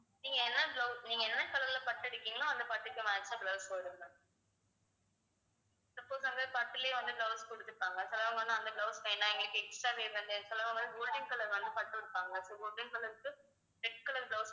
நீங்க என்ன blouse நீங்க என்ன color ல பட்டு எடுக்கறீங்களோ அந்தப் பட்டுக்கு match ஆ blouse வரும் ma'am suppose அங்க பட்டுலயே வந்து blouse குடுத்துருப்பாங்க சிலவங்க வந்து அந்த blouse வேணாம் எங்களுக்கு extra வந்து golden color வந்து பட்டு இருப்பாங்க so golden color க்கு red color blouse